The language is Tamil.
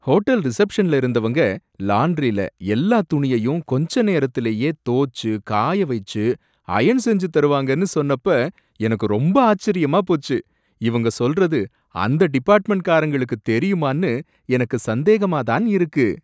ஹோட்டல் ரிசெப்ஷன்ல இருந்தவங்க லாண்டரில எல்லா துணியையும் கொஞ்ச நேரத்துலையே தோச்சு காய வைச்சு அயர்ன் செஞ்சு தருவாங்கன்னு சொன்னப்ப எனக்கு ரொம்ப ஆச்சரியமா போச்சு, இவங்க சொல்றது அந்த டிபார்ட்மென்ட்காரங்களுக்கு தெரியுமான்னு எனக்கு சந்தேகமா தான் இருக்கு!